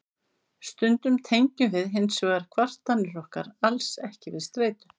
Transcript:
stundum tengjum við hins vegar kvartanir okkar alls ekki við streitu